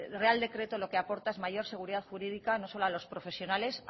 real decreto lo que aporta es mayor seguridad jurídica no solo a los profesionales